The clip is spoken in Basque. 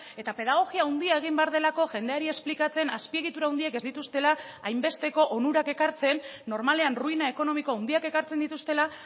eta pedagogia handia egin behar delako jendeari esplikatzen azpiegitura handiek ez dituztela hainbesteko onurak ekartzen normalean ruina ekonomiko handiak ekartzen dituztela